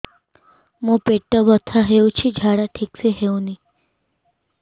ମୋ ପେଟ ବଥା ହୋଉଛି ଝାଡା ଠିକ ସେ ହେଉନି